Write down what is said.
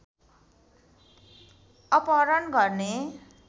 अपहरण गर्ने